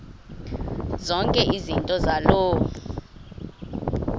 zonke izinto zaloo